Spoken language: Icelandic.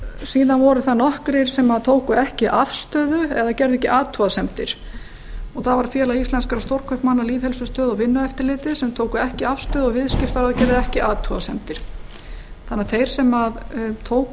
síðan voru það nokkrir sem tóku ekki afstöðu eða gerðu ekki athugasemdir og það voru félag íslenskra stórkaupmanna lýðheilsustöð og vinnueftirlitið tóku ekki afstöðu og viðskiptaráð gerði ekki athugasemdir þannig að þeir sem tóku